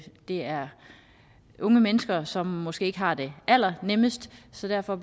er unge mennesker som måske ikke har det allernemmest så derfor